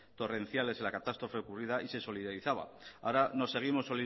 torrenciales en la catástrofe ocurrida y se solidarizaba ahora nos seguimos